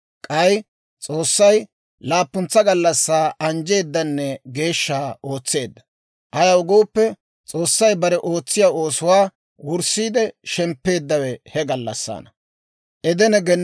K'ay S'oossay laappuntsa gallassaa anjjeeddanne geeshsha ootseedda; ayaw gooppe, S'oossay bare ootsiyaa oosuwaa wurssiide shemppeeddawe he gallassaana.